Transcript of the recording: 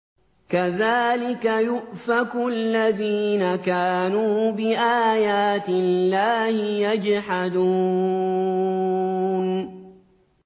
كَذَٰلِكَ يُؤْفَكُ الَّذِينَ كَانُوا بِآيَاتِ اللَّهِ يَجْحَدُونَ